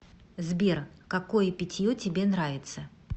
сбер какое питье тебе нравится